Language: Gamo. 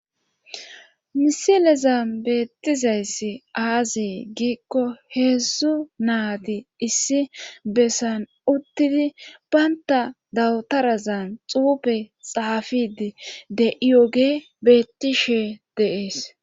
Misileza beettizayssi aazi giikko heedzdzu naadi issi bessan uttidi baynta dawutarazan xuube xaafidi de7iyoge bettishe deees.